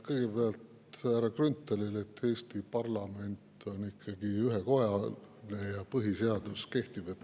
Kõigepealt härra Grünthalile: Eesti parlament on ikkagi ühekojaline ja põhiseadus kehtib.